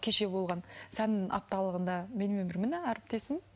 кеше болған сән апталығында менімен бір міне әріптесім